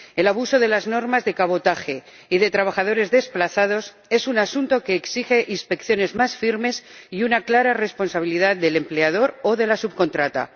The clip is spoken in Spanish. El abuso de las normas de cabotaje y de trabajadores desplazados es un asunto que exige inspecciones más firmes y una clara responsabilidad del empleador o de la subcontrata.